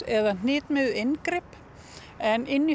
eða hnitmiðuð inngrip en inni